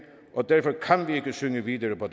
og derfor kan vi ikke synge videre på